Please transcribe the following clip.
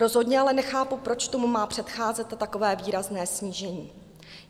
Rozhodně ale nechápu, proč tomu má předcházet takové výrazné snížení.